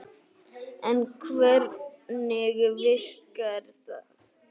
En hvernig virkar það?